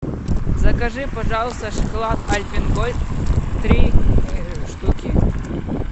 закажи пожалуйста шоколад альпен гольд три штуки